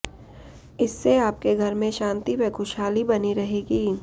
इससे आपके घर में शांति व खुशहाली बनी रहेगी